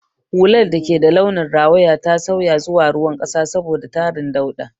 Hular da ke da launin rawaya ta sauya zuwa ruwan ƙasa saboda tarin dauɗa.